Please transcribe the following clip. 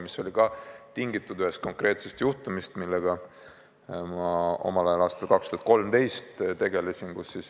See oli tingitud ühest konkreetsest juhtumist, millega ma omal ajal, aastal 2013 tegelesin.